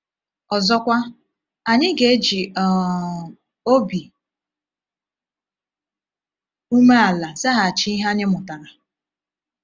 Ọzọkwa, anyị ga-eji um obi umeala zaghachi ihe anyị mụtara.